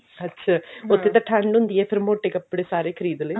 ਅੱਛਾ ਠੰਡ ਹੁੰਦੀ ਹੈ ਫ਼ੇਰ ਮੋਟੇ ਕੱਪੜੇ ਸਾਰੇ ਖਰੀਦ ਲੈ